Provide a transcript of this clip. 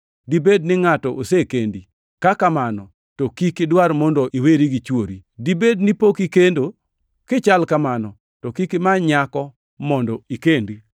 Dibed ni ngʼato osekendi? Ka kamano, to kik idwar mondo iweri gi chwori. Dibed ni pok ikendo? Kichal kamano, to kik imany nyako mondo ikendi.